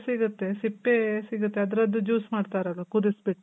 ಸಿಗುತ್ತೆ. ಸಿಪ್ಪೆ ಸಿಗುತ್ತೆ. ಅದ್ರುದು juice ಮಾಡ್ತಾರಲ್ವ ಕುದುಸ್ ಬಿಟ್ಟು